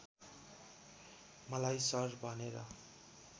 मलाई सर भनेर